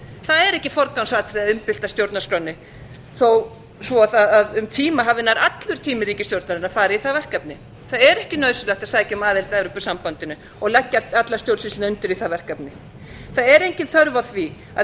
það er ekki forgangsatriði að umbylta stjórnarskránni þó svo að um tíma hafi nær allur tími ríkisstjórnarinnar farið í það verkefni það er ekki nauðsynlegt að sækja um aðild að evrópusambandinu og leggja alla stjórnsýsluna undir í það verkefni það er engin þörf á því að